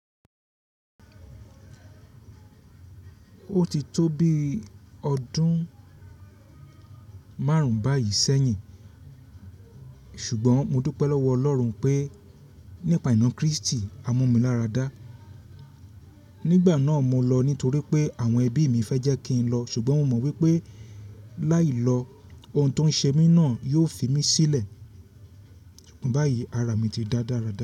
Ó ti tó bí ọdún márùn-ún báyìí sẹ́yìn, ṣùgbọ́n mo dúpẹ́ lọ́wọ́ Ọlọ́run pé nípa ìná Kristì, a mú mi lára dá. Nígbà náà mo lọ nítorí pé àwọn ẹbí mi fẹ́ jẹ́ kí n lọ ṣùgbọ́n mo mọ̀ wípé láì lọ, ohun tó ń ṣe mí náà yóò fi mí sílẹ̀. Ṣùgbọ́n báyìí ara mi ti da dára dára.